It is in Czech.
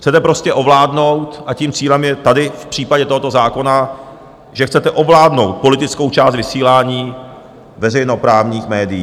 Chcete prostě ovládnout, a tím cílem je tady v případě tohoto zákona, že chcete ovládnout politickou část vysílání veřejnoprávních médií.